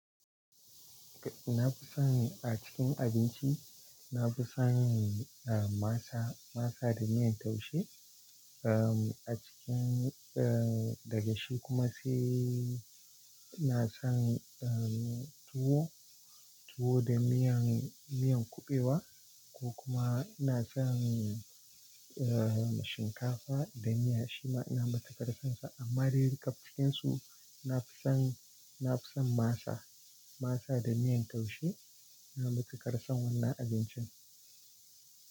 Na fi son a cikin abinci, na fi son, masa, masa da miyan taushe. Um, a cikin, eh, da gashi kuma sai ina san, eh, tuwo, tuwo da miyan, miyan kuɓewa ko kuma ina son, eh, shinkafa da miya shima ina matukar son sa. Amma dai kaf cinkin su na fi san, na fi san masa, masa da miyan taushe. Ina matuƙar son wannan abincin.